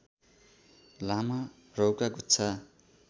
लामा रौँका गुच्छा